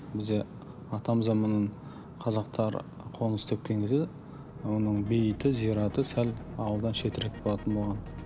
бізде атамзаман қазақтар қоныс тепкен кезде оның бейіті зираты сәл ауылдан шетірек болатын болған